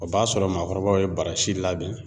O b'a sɔrɔ maakɔrɔbaw ye barasi labɛn.